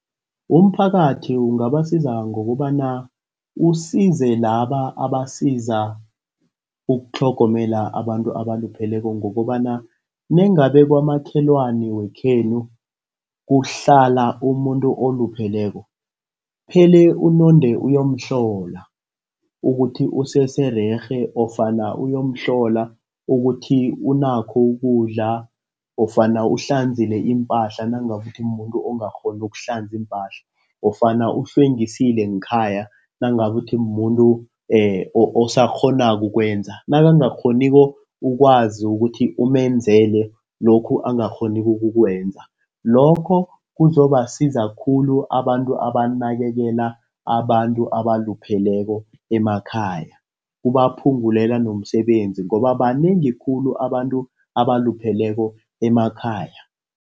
Umphakathi ungabasiza ngokobana usize laba abasiza ukutlhogomela abantu abalupheleko ngokobana nengaba kwamakhelwana wekhenu kuhlala umuntu olupheleko uphele unonde uyomhlola ukuthi usesererhe ofana uyomhlola ukuthi unakho ukudla ofana uhlanzekile iimpahla nangokuthi mumuntu ongakghoni ukuhlanza iimpahla ofana ukuhlwengisile ngekhaya nangabe ukuthi mumuntu osakghonako ukwenza nangakghoniko ukwazi ukuthi ukumenzela e lokhu angakghoni ukukwenza, lokho kuzobasiza khulu abantu abanakekela abantu abalupheleko emakhaya kubaphungulela nomsebenzi ngoba banengi khulu abantu abalupheleko emakhaya